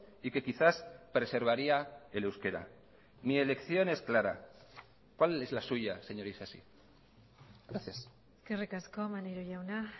y que quizás preservaría el euskera mi elección es clara cuál es la suya señor isasi gracias eskerrik asko maneiro jauna